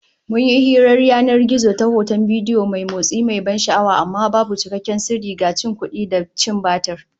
Mun yi hirar yanan gizo ta hoton bidiyo mai motsi, mai ban sha'awa, amma babu cikakken sirri, ga cin kudi da cin batir